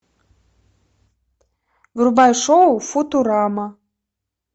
врубай шоу футурама